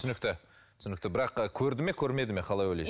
түсінікті түсінікті бірақ көрді ме көрмеді ме қалай ойлайсыз